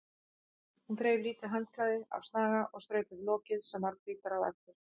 Hún þreif lítið handklæði af snaga og strauk yfir lokið sem varð hvítara á eftir.